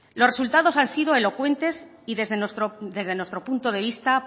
los resultados han sido elocuentes y desde nuestro punto de vista